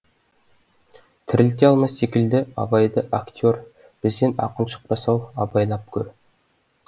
тірілте алмас секілді абайды актер бізден ақын шықпас ау абайлап көр